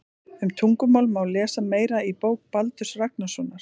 Um tungumál má lesa meira í bók Baldurs Ragnarssonar.